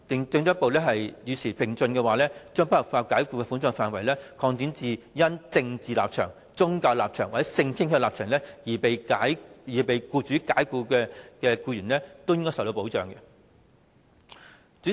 政府應與時並進，進一步將不合法解僱的保障範圍，擴展至因政治立場、宗教立場或性傾向立場而被僱主解僱的僱員。